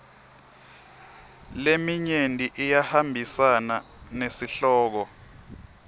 leminyenti iyahambisana nesihloko